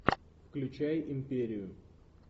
включай империю